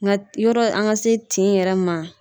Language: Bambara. Nka yɔrɔ an ka se tin yɛrɛ ma.